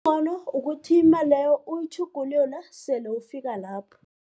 ukuthi imali leyo uyitjhugulule sele ufika lapho.